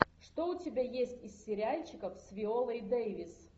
что у тебя есть из сериальчиков с виолой дэвис